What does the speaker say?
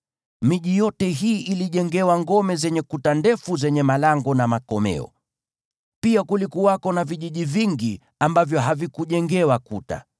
Miji yote hii ilijengewa ngome zenye kuta ndefu zenye malango na makomeo, pia kulikuwako na vijiji vingi ambavyo havikujengewa kuta.